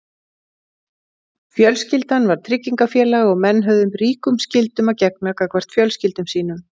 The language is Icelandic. Fjölskyldan var tryggingafélag og menn höfðu ríkum skyldum að gegna gagnvart fjölskyldum sínum.